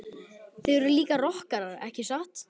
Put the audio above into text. Þið eruð líka rokkarar ekki satt?